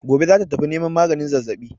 Gobe za ta tafi neman maganin zazzaɓin.